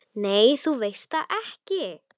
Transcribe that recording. Nei, þú veist það ekki.